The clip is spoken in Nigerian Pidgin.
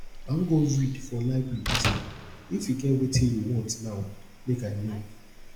i wan go read for library dis evening if e get wetin you want now make i no